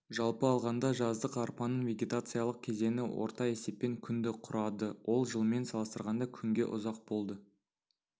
жалпы алғанда жаздық арпаның вегетациялық кезеңі орта есеппен күнді құрады ол жылмен салыстырғанда күнге ұзақ болды